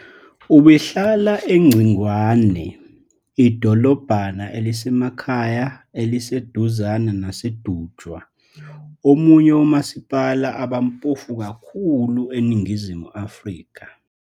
Ubehlala eNgcingwane, idolobhana elisemakhaya eliseduzane naseDutywa, omunye womasipala abampofu kakhulu eNingizimu Afrika.